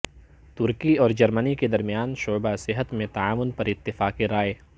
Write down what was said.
ترکی اور جرمنی کے درمیان شعبہ صحت میں تعاون پر اتفاق رائے